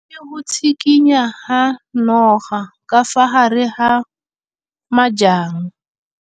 O bone go tshikinya ga noga ka fa gare ga majang.